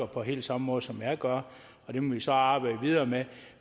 på helt samme måde som jeg gør og det må vi så arbejde videre med